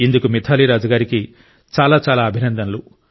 ఇందుకు మిథాలీ రాజ్ గారికి చాలా చాలా అభినందనలు